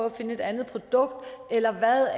at finde et andet produkt eller hvad